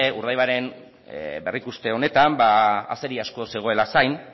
urdaibairen berrikuste honetan azeri asko zegoela zain